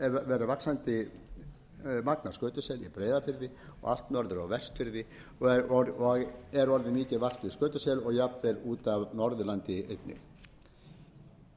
verið vaxandi magn af skötusel í breiðafirði og allt norður á vestfirði er orðið mikið vart við skötusel og jafnvel út af norðurlandi líka